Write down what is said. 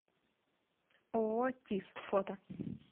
ооо тис фото